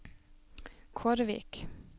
Kårvik